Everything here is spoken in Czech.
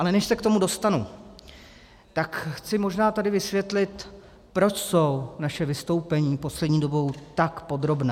Ale než se k tomu dostanu, tak chci možná tady vysvětlit, proč jsou naše vystoupení poslední dobou tak podrobná.